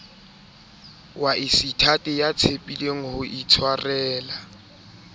waseithati ya tshepileng ho itshwarela